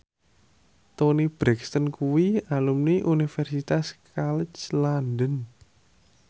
Toni Brexton kuwi alumni Universitas College London